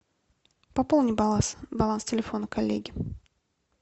пополни баланс телефона коллеги